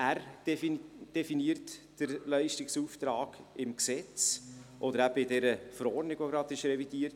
Er ist es, der den Leistungsauftrag im Gesetzt oder eben in der gerade revidierten Verordnung definiert.